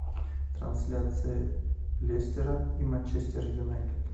трансляция лестера и манчестер юнайтед